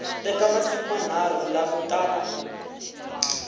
teka masiku manharhu ku langutana